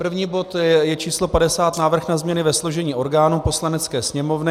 První bod je číslo 50, Návrh na změny ve složení orgánů Poslanecké sněmovny.